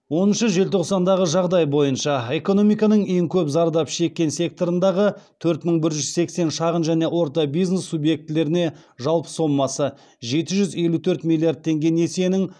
оныншы желтоқсандағы жағдай бойынша экономиканың ең көп зардап шеккен секторындағы төрт мың бір жүз сексен шағын және орта бизнес субъектілеріне жалпы сомасы жеті жүз елу төрт миллиард теңге несиенің